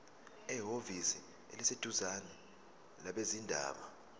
ehhovisi eliseduzane labezindaba